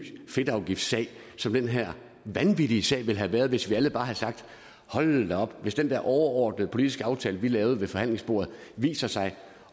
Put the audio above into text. fedtafgiftssag som den her vanvittige sag ville have været hvis vi alle bare havde sagt hold da op hvis den der overordnede politiske aftale vi lavede ved forhandlingsbordet viser sig